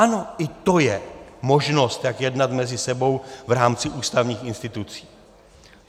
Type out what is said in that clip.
Ano, i to je možnost, jak jednat mezi sebou v rámci ústavních institucí.